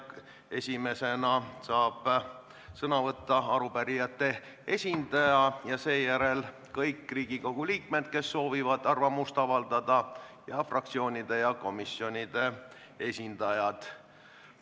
Esimesena saab sõna arupärijate esindaja ja seejärel kõik teised Riigikogu liikmed, kes soovivad arvamust avaldada, samuti fraktsioonide ja komisjonide esindajad.